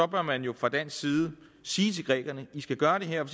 bør man jo fra dansk side sige til grækerne i skal gøre det her og